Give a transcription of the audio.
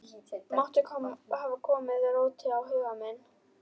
Matti hafði komið róti á huga minn.